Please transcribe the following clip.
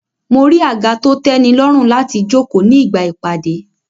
Mo rí àga to tẹ́nilọ́rùn láti jókòó ní ìgbà ìpàdé